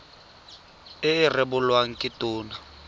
e e rebolwang ke tona